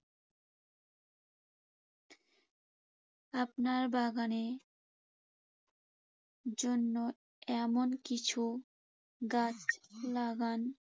আপনার বাগানের জন্য এমন কিছু গাছ লাগান